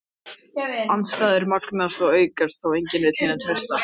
Andstæður magnast og aukast þá enginn vill hinum treysta.